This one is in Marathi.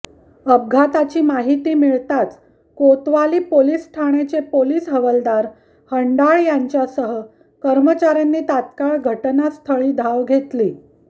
अपघाताची माहिती मिळताच कोतवाली पोलिस ठाण्याचे पोलिस हवालदार हंडाळ यांच्यासह कर्मचार्यांनी तात्काळ घटनास्थळी धाव घेतली